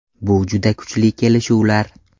Bu juda kuchli kelishuvlar.